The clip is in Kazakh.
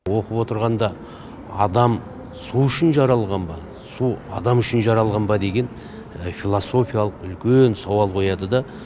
оқып отырғанда адам су үшін жаралған ба су адам үшін жаралған ба деген философиялық үлкен сауал қояды да